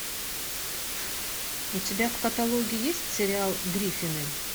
у тебя в каталоге есть сериал гриффины